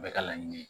Bɛɛ ka laɲini ye